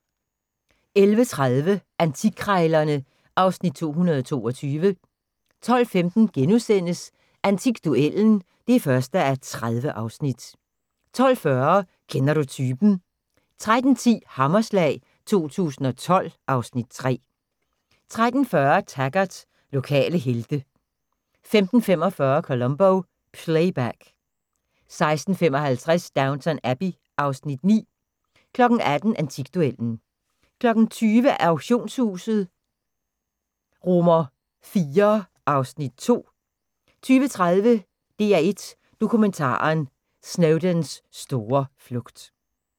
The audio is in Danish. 11:30: Antikkrejlerne (Afs. 222) 12:15: Antikduellen (1:30)* 12:40: Kender du typen? 13:10: Hammerslag 2012 (Afs. 3) 13:40: Taggart: Lokale helte 15:45: Columbo: Playback 16:55: Downton Abbey (Afs. 9) 18:00: Antikduellen 20:00: Auktionshuset IV (Afs. 2) 20:30: DR1 Dokumentaren: Snowdons store flugt